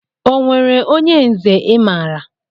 Onwere onye nze I maara?